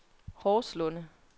Horslunde